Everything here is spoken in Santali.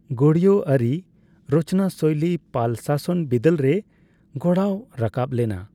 ᱜᱳᱭᱲᱤᱭᱚ ᱟᱹᱨᱤ ᱨᱚᱪᱱᱟᱥᱳᱭᱞᱤ ᱯᱟᱞ ᱥᱟᱥᱚᱱ ᱵᱤᱫᱟᱹᱞᱨᱮ ᱜᱚᱲᱟᱣ ᱨᱟᱠᱟᱵ ᱞᱮᱱᱟ ᱾